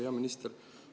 Hea minister!